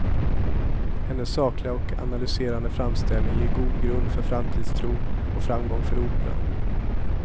Hennes sakliga och analyserande framställning ger god grund för framtidstro och framgång för operan.